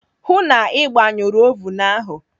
Hụụ na Ị gbanyụrụ ovun ahụ.